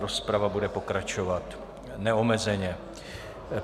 Rozprava bude pokračovat neomezeně.